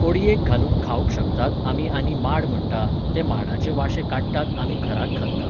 कोडयेक घालून खावंक शकतात आमी आनी माड म्हणटा, ते माडाचे वाशे काडटात आमी घराक घालता.